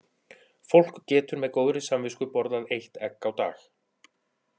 Fólk getur með góðri samvisku borðað eitt egg á dag.